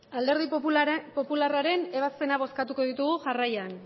alderdi popularraren ebazpenak bozkatuko ditugu jarraian